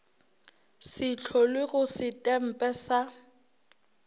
se hlolwe go setempe sa